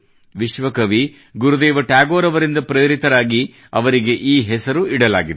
ವಿಶ್ವಕವಿ ಗುರುದೇವ ಟ್ಯಾಗೋರ್ ಅವರಿಂದ ಪ್ರೇರಿತರಾಗಿ ಅವರಿಗೆ ಈ ಹೆಸರು ಇಡಲಾಗಿದೆ